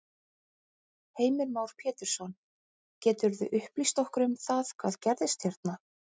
Heimir Már Pétursson: Geturðu upplýst okkur um það hvað gerðist hérna?